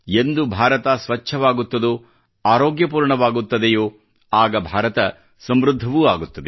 ಎಂದು ಭಾರತ ಸ್ವಚ್ಚವಾಗುತ್ತದೋ ಆರೋಗ್ಯಪೂರ್ಣವಾಗುತ್ತದೆಯೋ ಆಗ ಭಾರತ ಸಮೃದ್ಧವೂ ಆಗುತ್ತದೆ